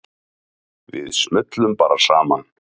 Við smullum bara saman.